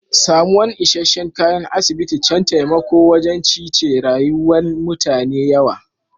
Samuwan isheshe'n kayan asibiti can taimako wajen cice rayuwa'n mutane yawa.